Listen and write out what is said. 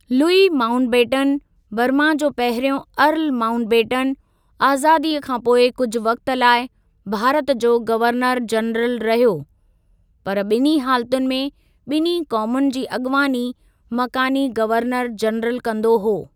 Louis Mountbatten, Burma जो पहिरियों earl Mountbatten, आज़ादीअ खां पोइ कुझु वक़्ति लाइ भारत जो गवर्नर जनरल रहियो, पर ॿिन्हीं हालतुनि में, ॿिन्हीं क़ौमुनि जी अॻिवानी मकानी गवर्नर जनरल कंदो हो।